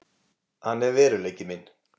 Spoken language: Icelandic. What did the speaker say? Hann er veruleiki minn.